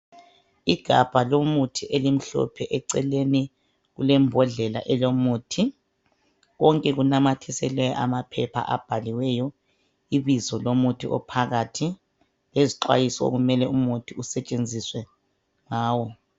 Igabha lomuthi elimhlophe. Eceleni kulembodlela elomuthi, konke kunanyathiselwe amaphepha abhaliweyo ibizo lomuthi ophakathi, lezixwayiso okumele umuthi usetshenziswe ngawo